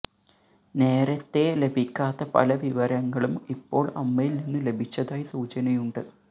നേരത്തെ ലഭിക്കാത്ത പല വിവരങ്ങളും ഇപ്പോള് അമ്മയില് നിന്ന് ലഭിച്ചതായി സൂചനയുണ്ട്